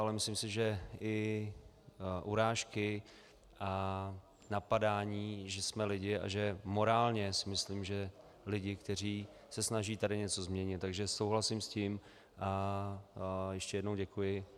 Ale myslím si, že i urážky a napadání, že jsme lidi a že morálně si myslím, že lidi, kteří se snaží tady něco změnit, takže souhlasím s tím a ještě jednou děkuji.